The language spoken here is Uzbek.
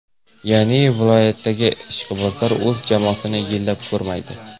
Ya’ni, viloyatlardagi ishqibozlar o‘z jamoasini yillab ko‘rmaydi.